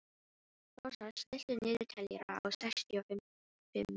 Rósar, stilltu niðurteljara á sextíu og fimm mínútur.